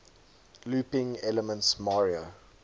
looping elements mario